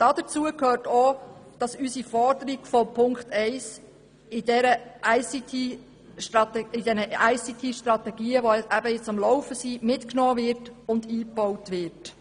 Dazu gehört auch, dass unsere Forderung in Ziffer 1 in den ICTStrategien, die am Laufen sind, mitgenommen und eingebaut wird.